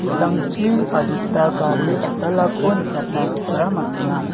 ki·sangchi adita gari dal·dalako nikatna gita man·a.